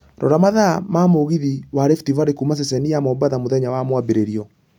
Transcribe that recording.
Rora mathaa ma mũgithi wa Rift Valley kuuma ceceni ya mombatha mũthenya wa mwambĩrĩrio